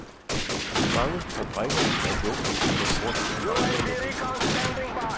Mange fabrikker er lukket på grund af manglende elforsyning.